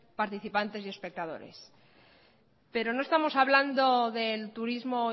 participantes y espectadores pero no estamos hablando del turismo